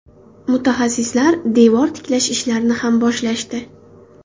Mutaxassislar devor tiklash ishlarini ham boshlashdi.